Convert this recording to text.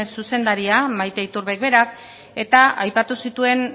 zuzendaria maite iturbek berak eta aipatu zituen